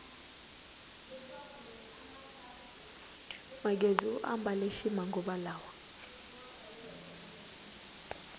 magezi u ambale ximanguva lawa